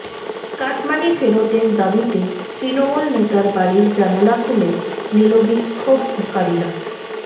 cut money ফেরতের দাবিতে তৃণমূল নেতার বাড়ির জানালা খুলে নিল বিক্ষোভকারীরা